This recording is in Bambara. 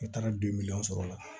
Ka taga don miliyɔn sɔrɔ la